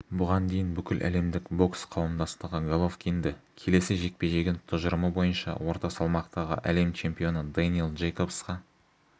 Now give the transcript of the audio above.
бұған дейін бүкіләлемдік бокс қауымдастығы головкинді келесі жекпе-жегін тұжырымы бойынша орта салмақтағы әлем чемпионы дэниэл джейкобсқа